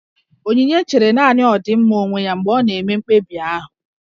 Onyinye chere nanị ọdịmma onwe ya mgbe ọ na-eme mkpebi ahụ